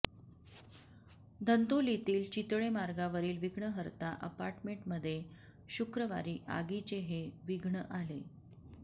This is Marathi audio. धंतोलीतील चितळे मार्गावरील विघ्नहर्ता अपार्टमेंमध्ये शुक्रवारी आगीचे हे विघ्न आले